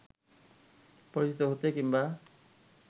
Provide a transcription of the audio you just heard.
পরিচিত হতে কিংবা